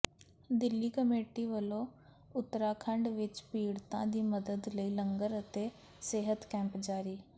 Delhi committee ਵੱਲੋਂ ਉਤਰਾਖੰਡ ਵਿੱਚ ਪੀੜਤਾਂ ਦੀ ਮੱਦਦ ਲਈ ਲੰਗਰ ਅਤੇ ਸਿਹਤ ਕੈਂਪ ਜਾਰੀ